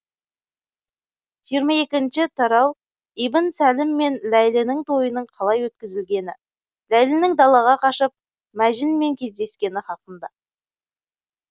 жиырма екінші тарауибн сәлім мен ләйлінің тойының қалай өткізілгені ләйлінің далаға қашып мәжінмен кездескені хақында